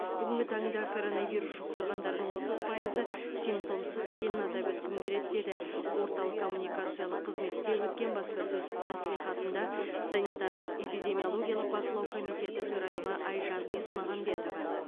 бүгінгі таңда коронавирус жұқтырғандардың отыз пайызы симптомсыз екенін атап өткім келеді деді орталық коммуникациялық қызметте өткен баспасөз мәслихатында санитарлық эпидемиологиялық бақылау комитетінің төрайымы айжан есмағамбетова